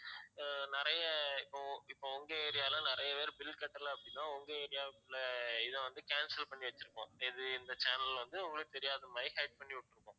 அஹ் நிறைய இப்போ இப்போ உங்க area ல நிறைய பேர் bill கட்டல அப்படின்னா உங்க area க்கு உள்ள இத வந்து cancel பண்ணி வச்சிருப்போம் எது இந்த channel வந்து உங்களுக்கு தெரியாத மாதிரி hide பண்ணி விட்டுருப்போம்